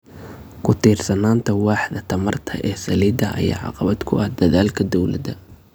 Ku tiirsanaanta waaxda tamarta ee saliidda ayaa caqabad ku ah dadaalka dowladda.